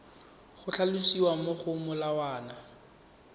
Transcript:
go tlhalosiwa mo go molawana